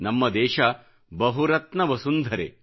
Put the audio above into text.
ನಮ್ಮ ದೇಶ ಬಹುರತ್ನ ವಸುಂಧರೆ